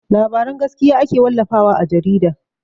Labaran gaskiya ake wallafa wa a jarida.